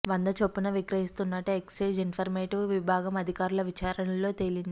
వంద చొప్పున విక్రయిస్తున్నట్లు ఎక్సైజ్ ఎన్ఫోర్స్మెంట్ విభాగం అధికారుల విచారణలో తేలింది